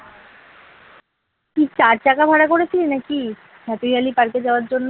তুই চার চাকা ভাড়া করেছিলি নাকি happy valley park এ যাওয়ার জন্য